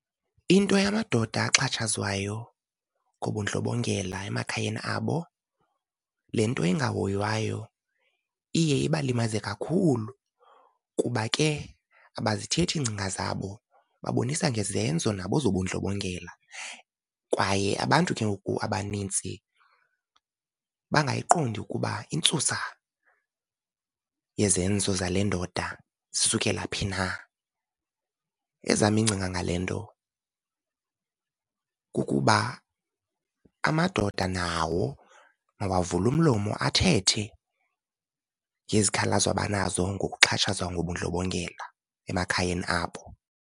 Into yamadoda axhatshazwayo ngobundlobongela emakhayeni abo le nto ingahoywayo iye ibalimaze kakhulu, kuba ke abazithethi iingcinga zabo babonisa ngezenzo nabo zobundlobongela. Kwaye abantu ke ngoku abanintsi bangayiqondi ukuba intsusa yezenzo zale ndoda zisukela phi na. Ezam iingcinga ngale nto kukuba amadoda nawo mawavule umlomo athethe ngezikhalazo abanazo ngokuxhatshazwa ngobundlobongela emakhayeni abo.